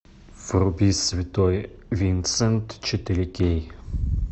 вруби святой винсент четыре кей